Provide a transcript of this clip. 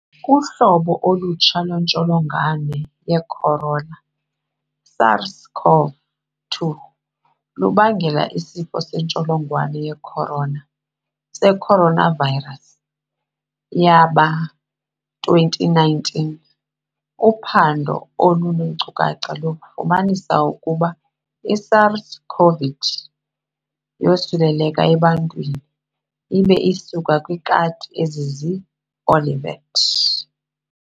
Uhlobo olutsha lwentsholongwane yecorona, SARS-CoV-2, lubangela isifo sentsholongwane yeCorana, seCoronavirus, yama-2019. Uphando oluneenkcukacha lufumanise ukuba iSARS-CoV yosuleleke ebantwini ibe isuka kwiikati ezizii-civet.